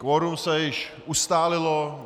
Kvorum se již ustálilo.